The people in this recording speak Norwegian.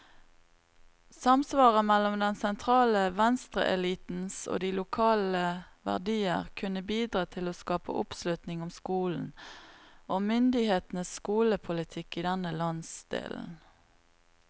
Samsvaret mellom den sentrale venstreelitens og de lokale verdier kunne bidra til å skape oppslutning om skolen, og myndighetenes skolepolitikk i denne landsdelen.